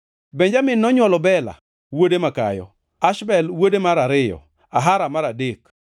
Benjamin nonywolo Bela, wuode makayo, Ashbel wuode mar ariyo, Ahara mar adek,